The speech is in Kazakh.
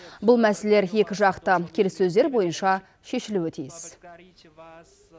бұл мәселелер екі жақты келіссөздер бойынша шешілуі тиіс